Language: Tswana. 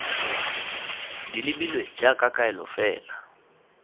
di lebilwe jaaka kaelo fela